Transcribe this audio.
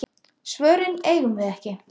Svörin eigum við ekki.